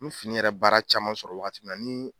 Ni fini yɛrɛ baara caman sɔrɔ wagati min na ni